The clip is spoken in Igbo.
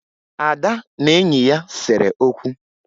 Ada na enyi ya sere okwu